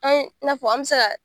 An ye, i n'a fɔ an be se ka